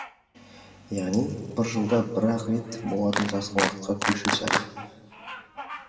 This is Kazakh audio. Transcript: яғни бір жылда бір ақ рет болатын жазғы уақытқа көшу сәті